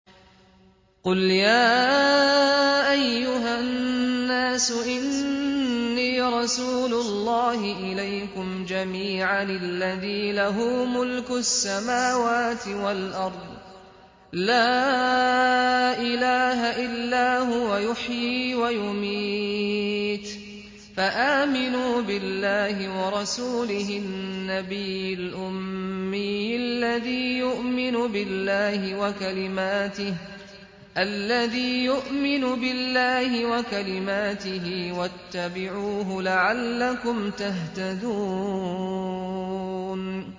قُلْ يَا أَيُّهَا النَّاسُ إِنِّي رَسُولُ اللَّهِ إِلَيْكُمْ جَمِيعًا الَّذِي لَهُ مُلْكُ السَّمَاوَاتِ وَالْأَرْضِ ۖ لَا إِلَٰهَ إِلَّا هُوَ يُحْيِي وَيُمِيتُ ۖ فَآمِنُوا بِاللَّهِ وَرَسُولِهِ النَّبِيِّ الْأُمِّيِّ الَّذِي يُؤْمِنُ بِاللَّهِ وَكَلِمَاتِهِ وَاتَّبِعُوهُ لَعَلَّكُمْ تَهْتَدُونَ